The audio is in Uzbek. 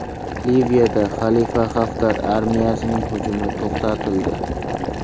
Liviyada Xalifa Xaftar armiyasining hujumi to‘xtatildi.